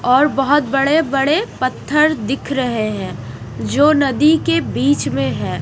और बहुत बड़े-बड़े पत्थर दिख रहे हैं जो नदी के बीच में है।